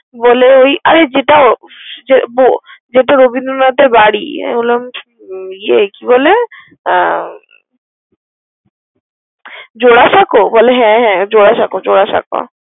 বলে ওই আরে যেটা রবীন্দ্র নাথের বাড়ি। আমি বললাম কে বলে জোড়াসাঁকো? বলে হ্যা হ্যা জোড়াসাঁকো।